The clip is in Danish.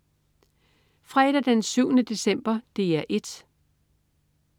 Fredag den 7. december - DR 1: